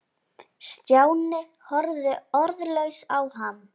Stjáni horfði orðlaus á hann.